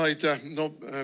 Aitäh!